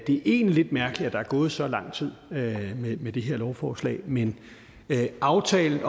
det er egentlig lidt mærkeligt at der er gået så lang tid med med det her lovforslag men aftalen